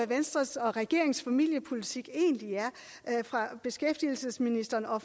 venstres og regeringens familiepolitik fra beskæftigelsesministeren og